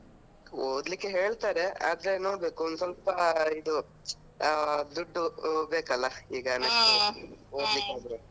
ಓದ್ಲಿಕ್ಕೆ ಹೇಳ್ತಾರೆ ಆದ್ರೆ ನೋಡ್ಬೇಕು ಒಂದ್ ಸ್ವಲ್ಪ ಇದು ಅಹ್ ದುಡ್ಡು ಬೇಕಲ್ಲ ಈಗ .